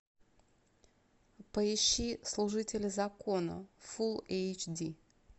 поищи служители закона фулл эйч ди